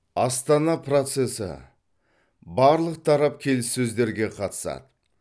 астана процесі барлық тарап келіссөздерге қатысады